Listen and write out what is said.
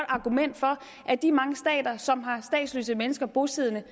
argument for at de mange stater som har statsløse mennesker bosiddende